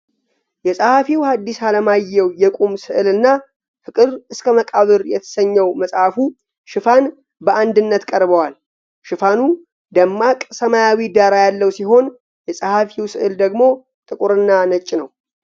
የጸሐፊው ሃዲስ አለማየው የቁም ሥዕልና "ፍቅር እስከ መቃብር" የተሰኘው መጽሐፉ ሽፋን በአንድነት ቀርበዋል። ሽፋኑ ደማቅ ሰማያዊ ዳራ ያለው ሲሆን፣ የጸሐፊው ሥዕል ደግሞ ጥቁርና ነጭ ነው።